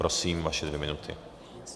Prosím, vaše dvě minuty.